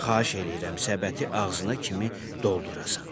Xahiş eləyirəm səbəti ağzına kimi doldurasan.